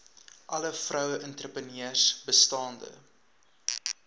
alle vroueentrepreneurs bestaande